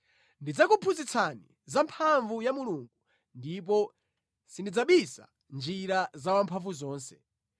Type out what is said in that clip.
“Ndidzakuphunzitsani za mphamvu ya Mulungu ndipo sindidzabisa njira za Wamphamvuzonse.